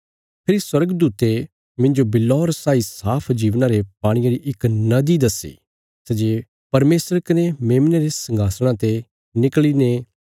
फेरी स्वर्गदूते मिन्जो बिल्लौर साई साफ जीवना रे पाणिये री इक नदी दस्सी सै जे परमेशर कने मेमने रे संघासणा ते निकल़ीने